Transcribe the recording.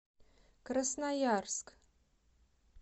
красноярск